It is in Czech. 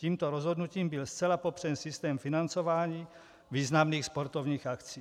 Tímto rozhodnutím byl zcela popřen systém financování významných sportovních akcí.